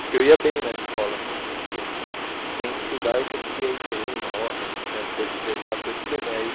Porque eu ia bem na escola, assim, sem estudar eu conseguia ir bem, nota, tinha coisas de exato, ia super bem.